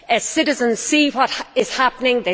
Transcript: Citizens see what is happening.